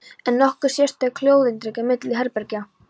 En er nokkur sérstök hljóðeinangrun milli herbergja?